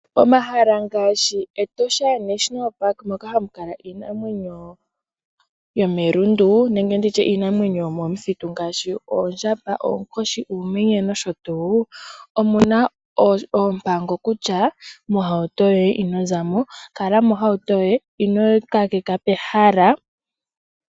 Omahala ngaashi Etosha National park moka hamukala iinamwenyo yomelundu nenge nditye iinamwenyo yomomuthitu ngaashi oondjamba, oonkoshi, uumenye nosho tuu. Omuna oompango kutya mohauto yoye inozamo. Kala mohauto yoye ino kakeka pehala.